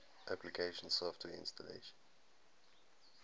application software installation